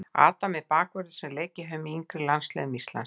Adam er bakvörður sem leikið hefur með yngri landsliðum Íslands.